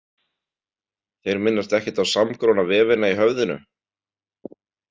Þeir minnast ekkert á samgróna vefina í höfðinu.